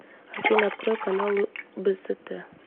афина открой каналы бст